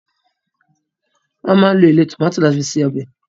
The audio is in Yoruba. wón má lọ èlé tomatí lati fí ṣe obè.